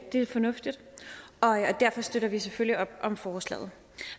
fornuftigt og derfor støtter vi selvfølgelig op om forslaget